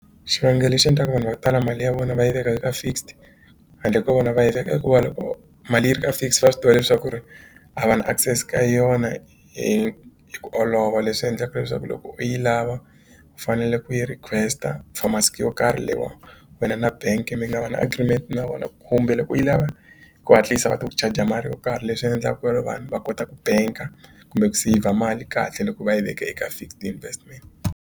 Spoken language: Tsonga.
Xivangelo lexi endlaka vanhu vo tala mali ya vona va yi veka eka fixed handle ko vona va yi veka hikuva loko mali yi ri ka fixed va swi tiva leswaku ri a va na access ka yona hi ku olova leswi endlaka leswaku loko u yi lava ku fanele ku yi request-a yo karhi leyi wena na bank mi nga va na agreement na vona kumbe loko yi lava ku hatlisa va ta ku charger mali yo karhi leswi endlaka kwale vanhu va kota ku bank kumbe ku seyivha mali kahle loko va yi veka eka fixed investment.